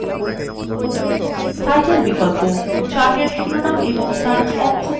title বিকল্প chart এর শিরোনাম এবং তার অক্ষ formats করে